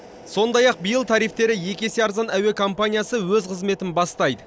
сондай ақ биыл тарифтері екі есе арзан әуе компаниясы өз қызметін бастайды